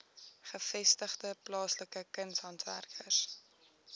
gevestigde plaaslike kunshandwerkers